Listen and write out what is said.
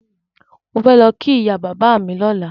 Mò fẹ́ lọ kí ìyá bàbá mi lọ́la.